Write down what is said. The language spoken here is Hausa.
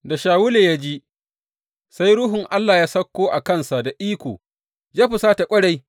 Da Shawulu ya ji, sa Ruhun Allah ya sauko a kansa da iko, ya husata ƙwarai.